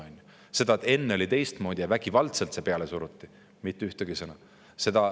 Sellest, et enne oli teistmoodi ja vägivaldselt midagi peale suruti, mitte ühtegi sõna.